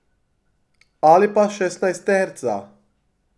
Ali pa šestnajsterca.